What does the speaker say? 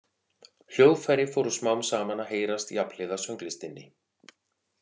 Hljóðfæri fóru smám saman að heyrast jafnhliða sönglistinni.